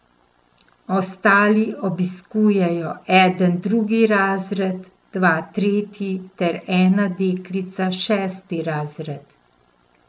Ostali obiskujejo eden drugi razred, dva tretji ter ena deklica šesti razred.